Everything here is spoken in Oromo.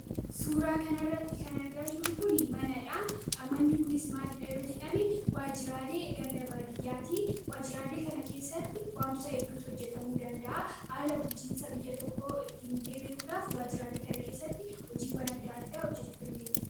Suuraa kana irratti kan argaa jirru kuni manadha. Manni kunis maalidha yoo jedhame waajjiraalee ganda baadiyyaati. Waajjiraalee kana keessatti wantoota hedduutu hojjetamuu danda'a. Haala bulchiinsa biyya tokko ittiin illee beekuudhaaf waajjiraalee kana keessatti hojiilee gara garaa hojjechuu dandeenya.